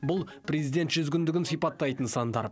бұл президент жүз күндігін сипаттайтын сандар